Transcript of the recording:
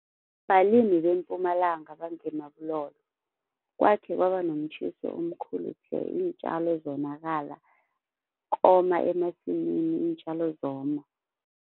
Balimi beMpumalanga bange-Marble hall, kwakhe kwaba nomtjhiso omkhulu tle. Iintjalo zonakala, koma emasimini iintjalo zoma.